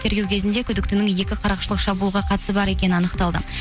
тергеу кезінде күдіктінің екі қарақшылық шабулға қатысы бар екені анықталды